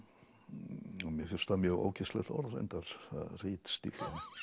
mér finnst það mjög ógeðslegt orð reyndar ritstífla